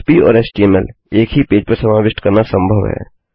पह्प और एचटीएमएल एक ही पेज पर समाविष्ट करना संभव है